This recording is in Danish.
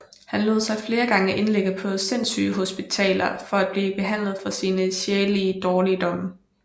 Han lod sig flere gange indlægge på sindsygehospitaler for at blive behandlet for sine sjælelige dårligdomme